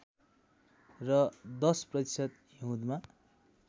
र १० प्रतिशत हिउँदमा